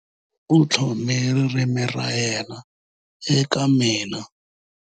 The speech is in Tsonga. U tlhome ririmi ra yena eka mina.